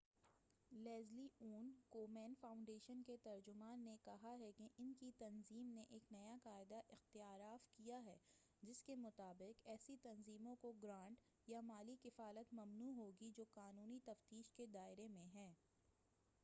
Leslie Aun Komen Foundation کے ترجمان نے کہا کہ ان کی تنظیم نے ایک نیا قاعدہ اختیارف کیا ہے جس کےمطابق ایسی تنظیموں کو گرانٹ یا مالی کفالت ممنوع ہوگی جو قانونی تفتیش کے دائرہ میں ہیں